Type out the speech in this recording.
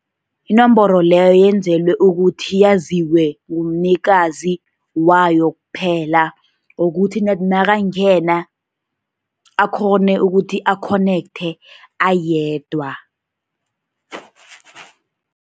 Inomboro leyo, yenzelwe ukuthi yaziwe ngumnikazi wayo kuphela, ukuthi ned nakangena akghone ukuthi a-connect ayedwa.